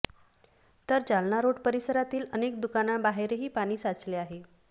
तर जालना रोड परिसरातील अनेक दुकांनांबाहेरही पाणी साचलं आहे